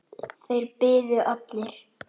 Þeir biðu allir.